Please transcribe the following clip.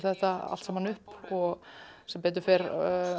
þetta allt saman upp sem betur fer